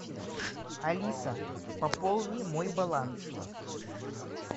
алиса пополни мой баланс